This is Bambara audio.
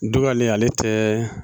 Dugalen ale tɛ